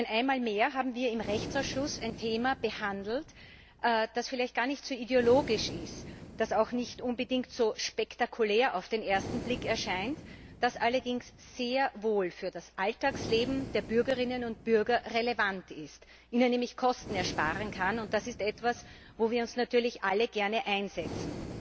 Denn einmal mehr haben wir im Rechtsausschuss ein Thema behandelt, das vielleicht gar nicht so ideologisch ist, das auch auf den ersten Blick nicht unbedingt so spektakulär erscheint, das allerdings sehr wohl für das Alltagsleben der Bürgerinnen und Bürger relevant ist, ihnen nämlich Kosten ersparen kann, und das ist etwas, wo wir uns natürlich alle gerne einsetzen.